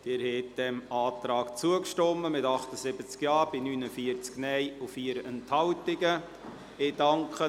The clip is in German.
Sie haben diesem Antrag zugestimmt, mit 78 Ja- gegen 49 Nein-Stimmen bei 4 Enthaltungen zugestimmt.